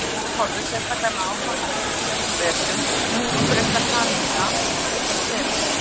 Ef fram fer sem horfir, sérstaklega með áframhaldandi hlýjum vetrum, mun útbreiðsla kanína aukast verulega.